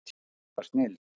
Þetta var snilld.